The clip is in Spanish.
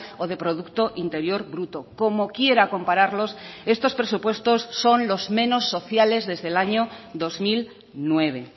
o de producto interior bruto como quiera compararlos estos presupuestos son los menos sociales desde el año dos mil nueve